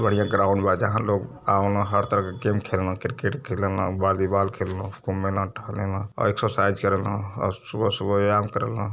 बढ़िया ग्राउंड बा। जहाँ लोग आवे न। हर तरह क गेम खेले न। क्रिकेट खेले न बॉलीबॉल खेले न। घूमे न टहले न और एक्ससरसाइज़ करेलन और सुबह सुबह व्यायाम करेलन।